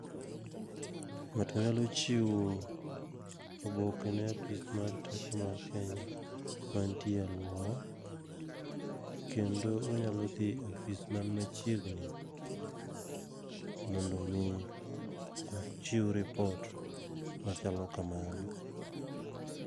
Ng'ato nyalo chiwo oboke ne apis mar teko mar Kenya man tie a alwora, kendo onyalo dhi e ofis man machiegni. Mondo mi ochiw ripot machalo kamano.